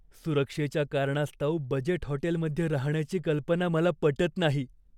सुरक्षेच्या कारणास्तव बजेट हॉटेलमध्ये राहण्याची कल्पना मला पटत नाही.